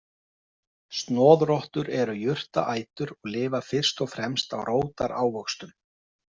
Snoðrottur eru jurtaætur og lifa fyrst og fremst á rótarávöxtum.